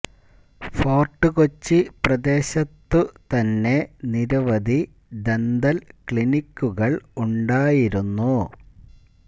Fort Kochi പ്രദേശത്തു തന്നെ നിരവധി ദന്തല് ക്ലിനിക്കുകള് ഉണ്ടായിരുന്നു